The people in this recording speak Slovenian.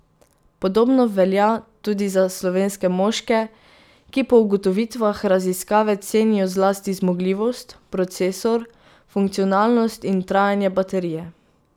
Podobno velja tudi za slovenske moške, ki po ugotovitvah raziskave cenijo zlasti zmogljivost, procesor, funkcionalnost in trajanje baterije.